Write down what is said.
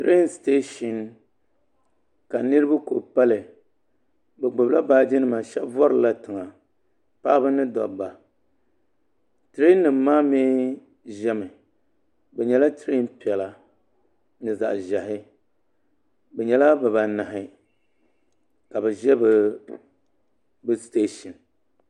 pɛlɛɛnsitɛshɛn la niriba kuli pali be gbala baaji nima shɛb vurilila tɛga paɣ' ba ni daba pɛlɛɛnnim maa ʒɛmi be nyɛla pɛlɛɛnpiɛlla ni zaɣ' ʒiɛhi be nyɛla bibaanahi ka be ʒɛ besitɛshɛni